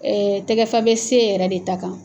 Ɛɛ tɛgɛfa bɛ C yɛrɛ de ta kan.